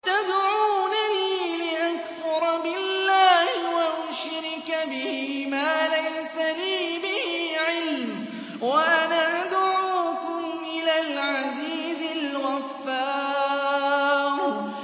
تَدْعُونَنِي لِأَكْفُرَ بِاللَّهِ وَأُشْرِكَ بِهِ مَا لَيْسَ لِي بِهِ عِلْمٌ وَأَنَا أَدْعُوكُمْ إِلَى الْعَزِيزِ الْغَفَّارِ